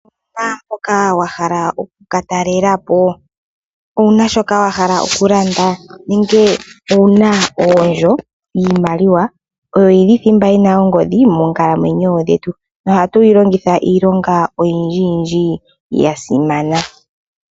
Owuna mpoka wa hala oku katalelapo, owuna shoka wahala okulanda, nenge owuna oondjo? Iimaliwa oyo yili thimba yina ongodhi moonkalamwenyo dhetu, nohatu yilongitha iilonga oyindjiyindji ya simana.